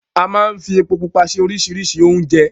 A máa n fí epo Pupa ṣe oríṣiríṣi oúnjẹ